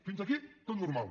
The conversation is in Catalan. fins aquí tot normal